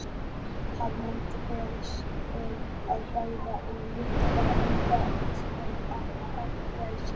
Hann myndi fela þeim að hræða hann lítillega með tali um fangelsi.